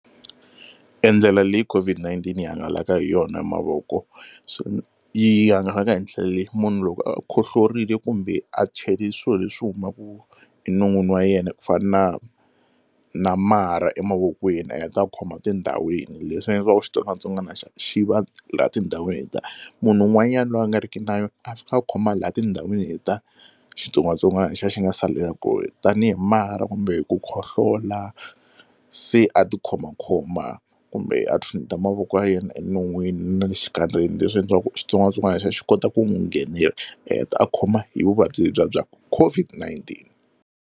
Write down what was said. E ndlela leyi COVID-19 yi hangalaka hi yona hi mavoko yi hangalaka hi ndlela leyi, munhu loko a khohlorile kumbe a cheli swilo leswi humaka enon'wini wa yena ku fana na marha emavokweni a heta khoma tindhawini. Leswi nga endla leswaku xitsongwatsongwana xa xi va laha tindhawini letiya munhu un'wanyani loyi a nga riki na yona a fika a khoma laha tindhawini letiya xitsongwatsongwana lexiya xi nga salela kona tanihi marha kumbe ku khohlola se a ti khomakhoma kumbe a tshuneta mavoko ya yena enon'wini na le xikandzeni leswi endliwaku xitsongwatsongwana lexiya xi kota ku n'wi nghenela a heta a khoma hi vuvabyi lebyiya bya COVID-19.